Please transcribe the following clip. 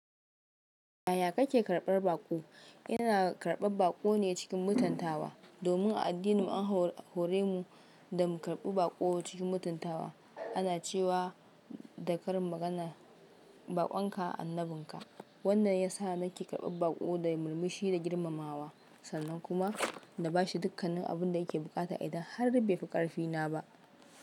Yaya kake karɓar baƙo? Ina karɓar baƙo ne cikin mutuntawa. Domin a addinin an hore mu da mu karɓi baƙo cikin mutuntawa. Ana cewa da karin magana “baƙon ka annabin ka”. Wannan ya sa nake karɓar baƙo da murmushi da girmamawa, sannan kuma na ba shi dukkanin abin da yake buƙata idan har bai fi ƙarfina ba.